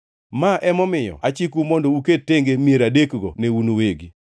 Ma emomiyo achikou mondo uket tenge mier adekgo ne un uwegi.